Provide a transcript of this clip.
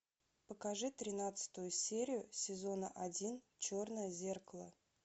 покажи тринадцатую серию сезона один черное зеркало